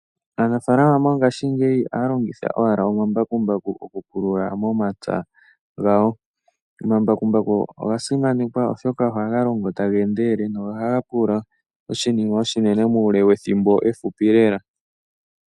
Aanafalama mongashingeyi ohaya longitha owala omambakumbaku okupulula omapya gawo. Omambakumbaku ohaga endelele nohaga pulula oshinima oshinene muule wethimbo ehupi lela.